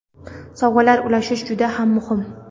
sovg‘alar ulashish juda ham muhim.